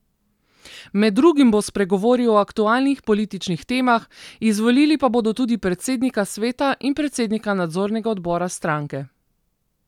Med drugim bo spregovoril o aktualnih političnih temah, izvolili pa bodo tudi predsednika sveta in predsednika nadzornega odbora stranke.